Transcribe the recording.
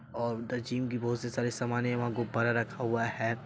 और उधर जिम की बोहोत सी सारे सामान हैं वहाँ गुब्बारा रखा हुआ हैं।